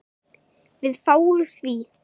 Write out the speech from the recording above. Við fáum því